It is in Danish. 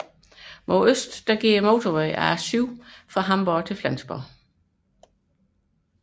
Mod øst går motorvejen A7 fra Hamborg mod Flensborg